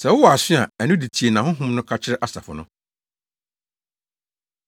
Sɛ wowɔ aso a, ɛno de tie nea Honhom no ka kyerɛ asafo no.”